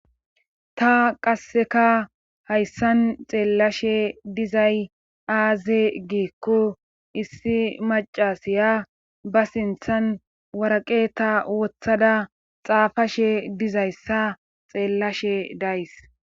ta qasseka hayssan xeellashe dizay aaze giikko issi macasiya ba sinthan waraqe ta wothada xaafashe dizayssa xeellashe days